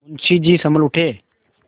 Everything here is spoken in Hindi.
मुंशी जी सँभल उठे